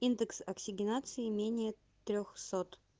индекс оксигенации менее трёхсот